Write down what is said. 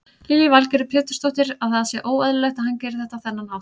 Lillý Valgerður Pétursdóttir: Að það sé óeðlilegt að hann geri þetta á þennan hátt?